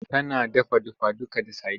Tana dafa dafaduka da sadin.